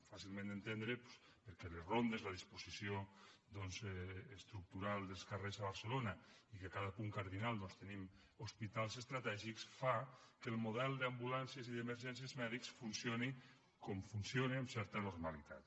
fàcilment d’entendre perquè les rondes la disposició estructural dels carrers a barcelona i que cada punt cardinal tenim hospitals estratègics fa que el model d’ambulàncies i d’emergències mèdiques funcioni com funciona amb certa normalitat